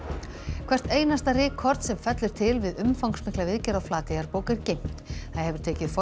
hvert einasta rykkorn sem fellur til við umfangsmikla viðgerð á Flateyjarbók er geymt það hefur tekið